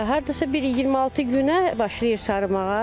Hardasa bir 26 günə başlayır sarımağa.